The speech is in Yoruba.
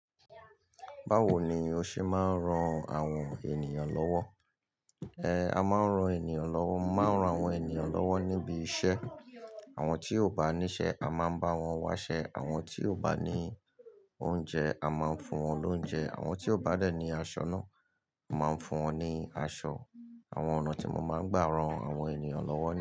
Bawo ni o ṣe máa ń ran àwọn ènìyàn lọ́wọ́? Ehn, a máa ń ran ènìyàn lọ́wọ́, máa ń ran àwọn ènìyàn lọ́wọ́ níbi iṣẹ́, àwọn tí ó bá níṣẹ́ a máa ń bá wọn wáṣẹ́, àwọn tí ó bá ní oúnjẹ a máa ń fún wọn lóúnjẹ, àwọn tí ó bá dẹ̀ ní aṣọ náà a máa ń fún wọn ní aṣọ. Àwọn ọ̀nà tí mo máa ń gbà ran àwọn ènìyàn lọ́wọ́